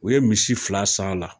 U ye misi fila san a la